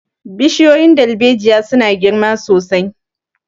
Bishiyoyin dalbejiya su na girma sosai